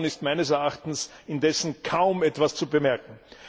Davon ist meines Erachtens indessen kaum etwas zu bemerken.